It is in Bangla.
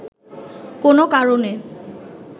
কোনো কারণে